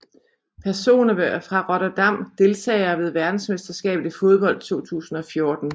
Personer fra Rotterdam Deltagere ved verdensmesterskabet i fodbold 2014